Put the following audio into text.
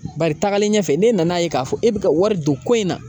Bari tagalen ɲɛfɛ n'e nan'a ye k'a fɔ e be ka wari don ko in na